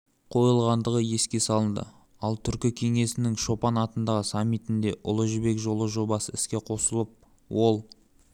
қойылғандығы еске салынды ал түркі кеңесінің шолпан-атадағы саммитінде ұлы жібек жолы жобасы іске қосылып ол